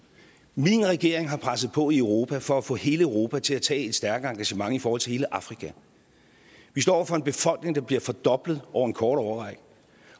min regering har presset på i europa for at få hele europa til at tage et stærkt engagement i forhold til hele afrika vi står over for en befolkning der bliver fordoblet over en kort årrække